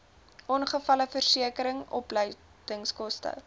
ongevalleversekering opleidingskoste